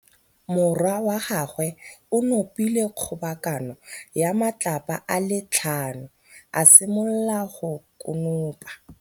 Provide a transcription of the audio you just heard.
Morwa wa gagwe o nopile kgobokanô ya matlapa a le tlhano, a simolola go konopa.